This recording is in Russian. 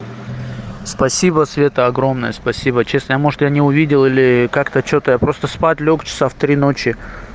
спасибо света огромное спасибо честно я может я не увидел или как-то что-то я просто спать лёг часа в три ночи